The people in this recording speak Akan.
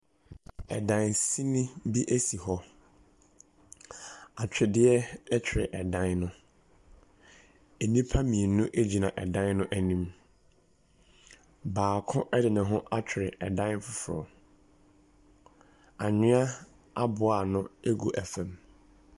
Dan sini bi si hɔ. Atwedeɛ twere dan no ho. Nnipa mmienu gyina dan no anim. Baako de ne ho atwere dan foforɔ. Anwea aboa ano gu fam.